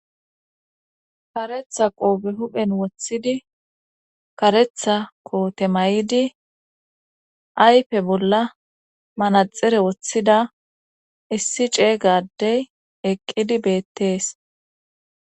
karetha qoobe huphen woththidi karetha koote may7idi aype bolla manaxere woththida issi ceeygadey eqqidi beettees